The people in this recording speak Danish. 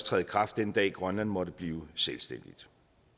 træde i kraft den dag grønland måtte blive selvstændigt